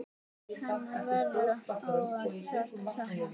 Hennar verður ávallt sárt saknað.